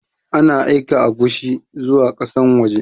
Ana aika agushi zuwa ƙasan waje